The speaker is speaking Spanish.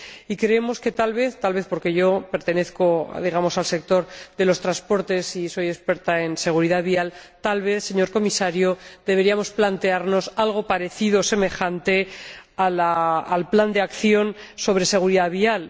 Y creemos que, tal vez, tal vez porque yo pertenezco, digamos, al sector de los transportes y soy experta en seguridad vial, tal vez señor Comisario deberíamos plantearnos algo parecido o semejante al plan de acción sobre seguridad vial.